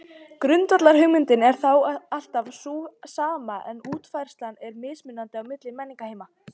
Grundvallarhugmyndin er þá alltaf sú sama en útfærslan er mismunandi á milli menningarheima.